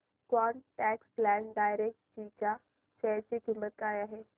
quant tax plan डायरेक्टजी च्या share ची किंमत काय आहे